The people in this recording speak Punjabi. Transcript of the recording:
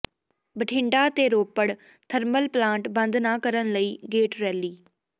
ਬਠਿੰਡਾ ਤੇ ਰੋਪੜ ਥਰਮਲ ਪਲਾਂਟ ਬੰਦ ਨਾ ਕਰਨ ਲਈ ਗੇਟ ਰੈਲੀ